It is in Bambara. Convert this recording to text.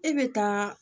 E bɛ taa